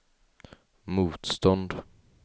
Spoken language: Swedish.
motstånd